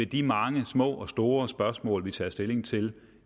de mange små og store spørgsmål vi tager stilling til